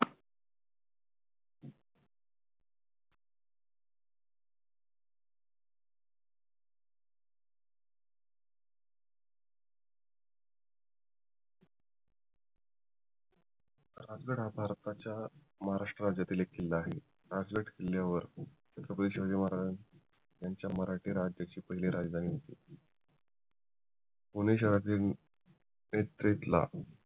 राजगड हा भारताच्या महाराष्ट्र राज्यातील एक किल्ला आहे राजगड किल्ल्यावर छत्रपती शिवाजी महाराज यांच्या राज्याची पहिली राजधानी होती पुणे शहरातील ला